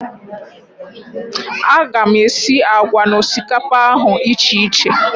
A ga m esi àgwà na osikapa ahụ icheiche